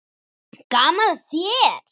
Gaman að þér!